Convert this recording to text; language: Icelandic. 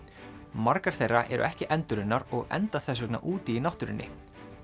margar þeirra eru ekki endurunnar og enda þess vegna úti í náttúrunni